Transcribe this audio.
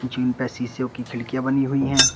जिन पे शिशो की खिड़कियां बनी हुई है।